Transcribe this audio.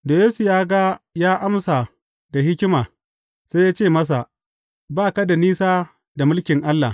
Da Yesu ya ga ya amsa da hikima, sai ya ce masa, Ba ka da nisa da mulkin Allah.